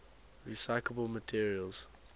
recyclable materials